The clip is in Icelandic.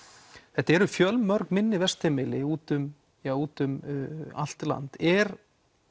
þetta eru fjölmörg minni vistheimili úti um úti um allt land er